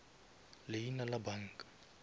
leina la banka